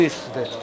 Bu idi də.